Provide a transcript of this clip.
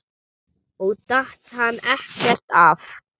Og datt hann ekkert af?